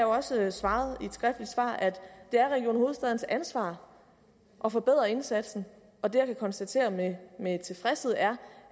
også svaret i et skriftligt svar at det er region hovedstadens ansvar at forbedre indsatsen og det jeg kan konstatere med med tilfredshed er